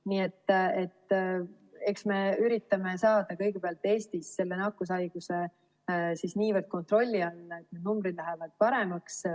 Nii et eks me üritame saada kõigepealt Eestis selle nakkushaiguse niivõrd kontrolli alla, et numbrid lähevad paremaks.